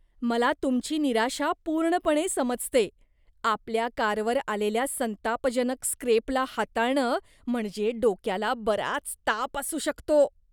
मला तुमची निराशा पूर्णपणे समजते. आपल्या कारवर आलेल्या संतापजनक स्क्रेपला हाताळणं म्हणजे डोक्याला बराच ताप असू शकतो.